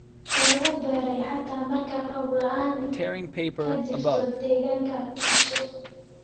lagu beeray xataa marka roob la'aani ka jirto deegaanka taasoo